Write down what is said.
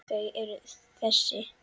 Þau eru þessi: